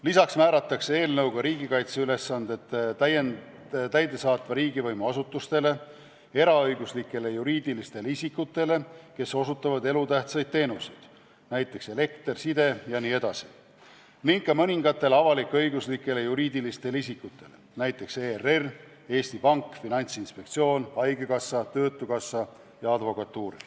Lisaks määratakse riigikaitseülesanded täidesaatva riigivõimu asutustele, eraõiguslikele juriidilistele isikutele, kes osutavad elutähtsaid teenuseid, näiteks elekter, side jne, ning ka mõningatele avalik-õiguslikele juriidilistele isikutele, näiteks ERR, Eesti Pank, Finantsinspektsioon, haigekassa, töötukassa ja advokatuur.